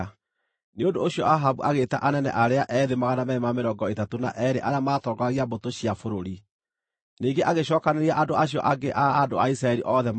Nĩ ũndũ ũcio Ahabu agĩĩta anene arĩa ethĩ 232 arĩa maatongoragia mbũtũ cia bũrũri. Ningĩ agĩcookanĩrĩria andũ acio angĩ a andũ a Isiraeli othe maarĩ 7,000.